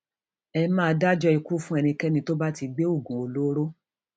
ẹ máa dájọ ikú fún ẹnikẹni tó bá ti gbé oògùn olóró